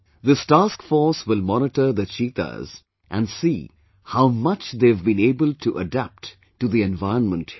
This task force will monitor the cheetahs and see how much they have been able to adapt to the environment here